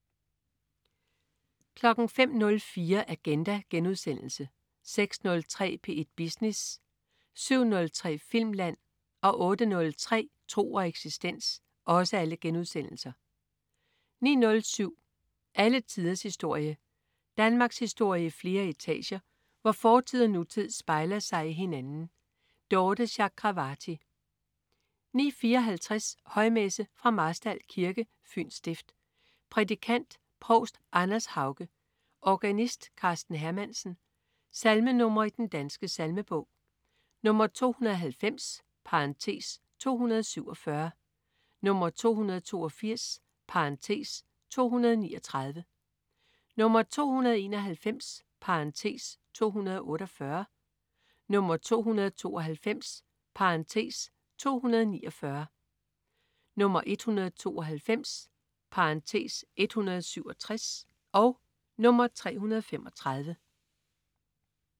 05.04 Agenda* 06.03 P1 Business* 07.03 Filmland* 08.03 Tro og eksistens* 09.07 Alle tiders historie. Danmarkshistorie i flere etager, hvor fortid og nutid spejler sig i hinanden. Dorthe Chakravarty 09.54 Højmesse. Fra Marstal Kirke, Fyns stift. Prædikant: Provst Anders Hauge. Organist: Karsten Hermansen. Salmenr. i Den Danske Salmebog: 290 (247), 282 (239), 291 (248), 292 (249), 192 (167), 335